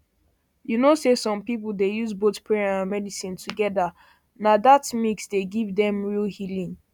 you know say some people dey use both prayer and medicine togetherna that mix dey give dem real real healing